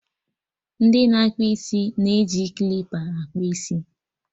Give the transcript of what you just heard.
Ndị na akpụ isi na-eji klipa akpụ isi